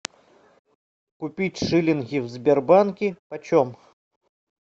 купить шилинги в сбербанке почем